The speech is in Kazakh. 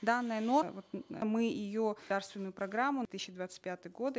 данная мы ее программу тысяча двадцать пятый годы